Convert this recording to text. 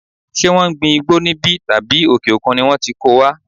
Ṣé wọn ń gbin igbó níbí tàbí òkè òkun ni wón ti ko wá?